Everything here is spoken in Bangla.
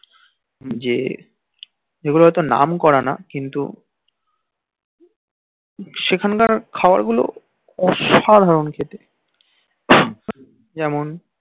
যে যেগুলো নাম করা না কিন্তু সেখান কার খাবার গুল অসাধারন খেতে যেমন